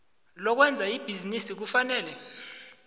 lokwenza ibhizinisi kufanele